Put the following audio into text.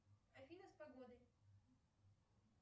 афина с погодой